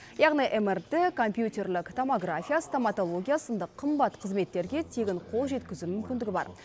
яғни мрт компьютерлік томография стоматология сынды қымбат қызметтерге тегін қол жеткізу мүмкіндігі бар